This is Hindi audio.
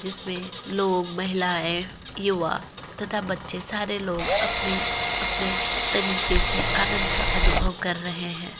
जिसमें लोग महिलाएं युवा तथा बच्चे सारे लोग अपने अपने तरीके से आनदं का अनुभव कर रहे हैं।